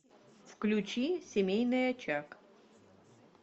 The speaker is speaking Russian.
включи семейный очаг